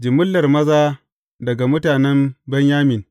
Jimillar maza daga mutanen Benyamin ne.